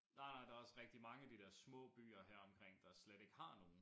Nej nej der også rigtig mange af de dér små byer heromkring der slet ikke har nogen